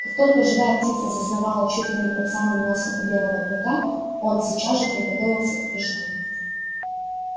как только живая птица засновала чуть ли не под самым носом у белого клыка он сейчас же приготовился к прыжку